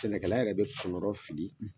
Sɛnɛkɛla yɛrɛ bɛ kɔnɔrɔ fili!